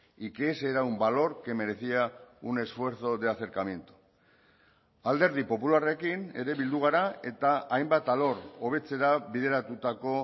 y que ese era un valor que merecía un esfuerzo de acercamiento alderdi popularrekin ere bildu gara eta hainbat alor hobetzera bideratutako